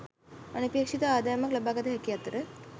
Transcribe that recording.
අනපේක්ෂිත ආදායමක් ලබාගත හැකි අතර